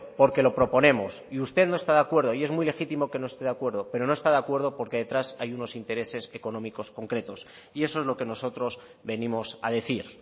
porque lo proponemos y usted no está de acuerdo y es muy legítimo que no esté de acuerdo pero no está de acuerdo porque detrás hay unos intereses económicos concretos y eso es lo que nosotros venimos a decir